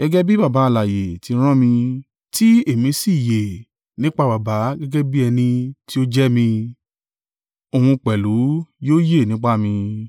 Gẹ́gẹ́ bí Baba alààyè ti rán mi, tí èmi sì yè nípa Baba gẹ́gẹ́ bẹ́ẹ̀ ni ẹni tí ó jẹ mí, òun pẹ̀lú yóò yè nípa mi.